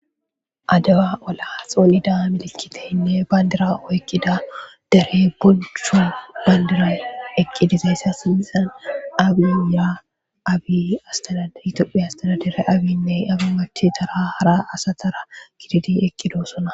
Adawa oola xonnidda milikiteyinne bandirra oyikiddi eqi dizayissa sinithani tophiy asitadadare Abiranne abi nachetara giddi eqidossona.